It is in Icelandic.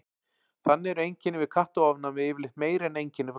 Þannig eru einkenni við kattaofnæmi yfirleitt meiri en einkenni frá hundum.